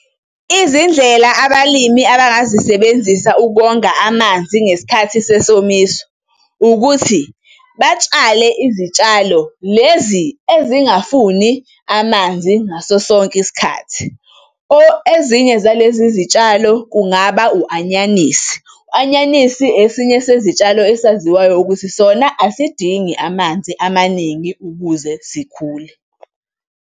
Izindlela abalimi abangazisebenzisa ukonga amanzi ngesikhathi sesomiso, ukuthi batshale izitshalo lezi ezingafuni amanzi ngaso sonke isikhathi. Ezinye zalezi zitshalo kungaba u-anyanisi. U-anyanisi esinye sezitshalo esaziwayo ukuthi sona asidingi amanzi amaningi ukuze sikhule.